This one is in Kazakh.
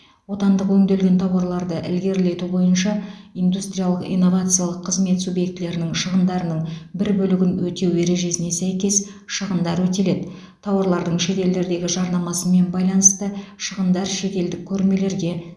отандық өңделген тауарларды ілгерілету бойынша индустриялық инновациялық қызмет субъектілерінің шығындарының бір бөлігін өтеу ережесіне сәйкес шығындар өтеледі тауарлардың шетелдердегі жарнамасымен байланысты шығындар шетелдік көрмелерге